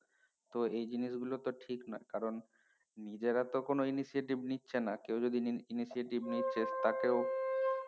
তো এই জিনিস গুলো তো ঠিক নই কারণ নিজেরা তো initiative নিচ্ছে না কেও যদি initiative নিচ্ছে তাকেও